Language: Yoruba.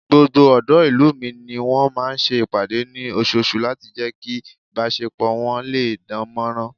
Gbogbo ọ̀dọ́ ìlú mi ni wọ́n máa ń ṣe ìpàdé ní oṣooṣù láti jẹ́ kí ìbásepọ̀ wọ́n lè dánmọ́nrán